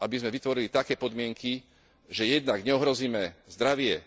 aby sme vytvorili také podmienky, že jednak neohrozíme zdravie